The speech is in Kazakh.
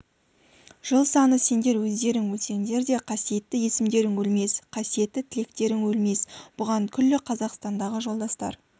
жыл саны сендер өздерің өлсеңдер де қасиетті есімдерің өлмес қасиетті тілектерің өлмес бұған күллі қазақстандағы жолдастар